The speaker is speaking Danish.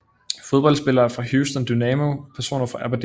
Fodboldspillere fra Houston Dynamo Personer fra Aberdeen